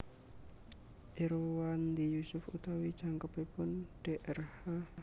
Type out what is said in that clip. Irwandi Yusuf utawi jangkepipun drh